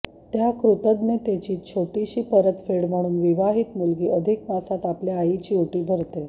त्या कृतज्ञतेची छोेटीशी परतफेड म्हणून विवाहित मुलगी अधिक मासात आपल्या आईची ओटी भरत़े